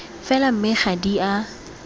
fela mme ga di a